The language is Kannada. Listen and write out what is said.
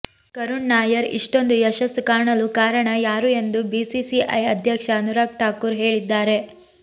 ಕರುಣ್ ನಾಯರ್ ಇಷ್ಟೊಂದು ಯಶಸ್ಸು ಕಾಣಲು ಕಾರಣ ಯಾರು ಎಂದು ಬಿಸಿಸಿಐ ಅಧ್ಯಕ್ಷ ಅನುರಾಗ್ ಠಾಕೂರ್ ಹೇಳಿದ್ದಾರೆ